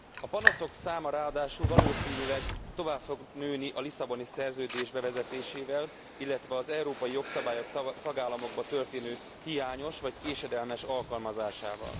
A panaszok száma ráadásul valószínűleg tovább fog nőni a Lisszaboni Szerződés bevezetésével, illetve az európai jogszabályok tagállamokban történő hiányos vagy késedelmes alkalmazásával.